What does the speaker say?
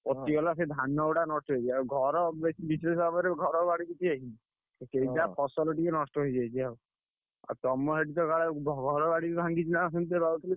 ପଚିଗଲା ସେ ଧାନଗୁଡା loss ଆଉ ଘର ବେଶୀ ବିଶେଷ ଭାବରେ ଘର ବାଡି କିଛି ହେଇନି। ସେଇ ଯାହା ଫସଲ ଟିକେ ନଷ୍ଟ ହେଇଯାଇଛି ଆଉ। ଆଉ ତମ ସେଠି ତ କାଳେ ଘର ବାଡି ବି ଭାଙ୍ଗିଛି ନା କଣ ଶୁଣିଛି ।